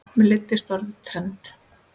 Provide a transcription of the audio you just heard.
Mér leiðist orðið trend.